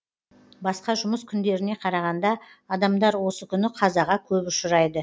басқа жұмыс күндеріне қарағанда адамдар осы күні қазаға көп ұшырайды